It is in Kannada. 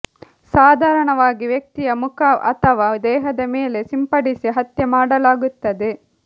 ಸಾಧಾರಣವಾಗಿ ವ್ಯಕ್ತಿಯ ಮುಖ ಅಥವಾ ದೇಹದ ಮೇಲೆ ಸಿಂಪಡಿಸಿ ಹತ್ಯೆ ಮಾಡಲಾಗುತ್ತದೆ